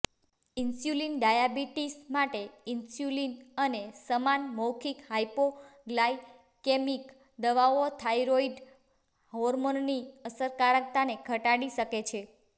insulin diabetes માટે insulin અને સમાન મૌખિક હાઈપોગ્લાયકેમિક દવાઓ થાઇરોઇડ હોર્મોનની અસરકારકતાને ઘટાડી શકે છે